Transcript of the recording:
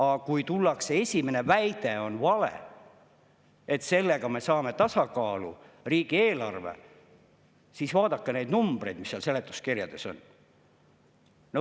Aga tullakse välja väitega, et sellega me saame tasakaalu riigieelarve – juba see on vale, sest vaadake neid numbreid, mis seal seletuskirjades on.